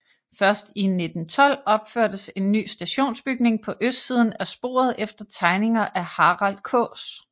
Først i 1912 opførtes en ny stationsbygning på østsiden af sporet efter tegninger af Harald Kaas